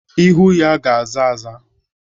Ihu ya ga-aza aza.